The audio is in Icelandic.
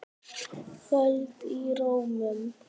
Kvöl í rómnum.